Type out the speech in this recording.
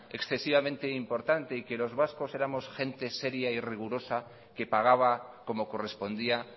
excesivamente importante y que los vascos éramos gentes seria y rigurosa que pagaba como correspondía